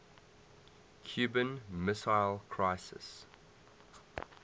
cuban missile crisis